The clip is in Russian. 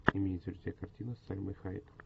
имеется ли у тебя картина с сальмой хайек